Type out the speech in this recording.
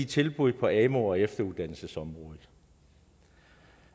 tilbud på amu og efteruddannelsesområdet